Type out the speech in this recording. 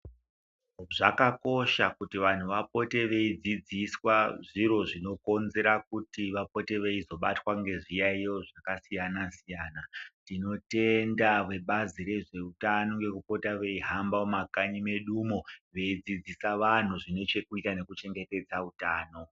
Zvakakosha kuti vantu vapote veidzidziswa zviro zvinokonzera kuti vapote veizobatwa ngezviyaiyo zvakasiyana-siyana. Tinotenda vebazi rezveutano ngekupota veihamba mumakanyi medumo veidzidzisa vantu zvine chekuita nekuchengetedza utano.